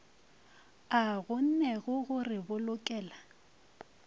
a kgonnego go re bolokela